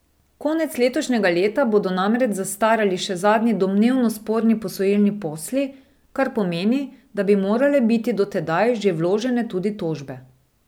Konec letošnjega leta bodo namreč zastarali še zadnji domnevno sporni posojilni posli, kar pomeni, da bi morale biti do tedaj že vložene tudi tožbe.